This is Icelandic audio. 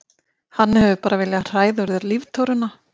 Hann hefur bara viljað hræða úr þér líftóruna.